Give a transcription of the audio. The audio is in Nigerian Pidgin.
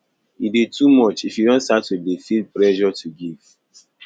e de too much if you don start to de feel pressure to give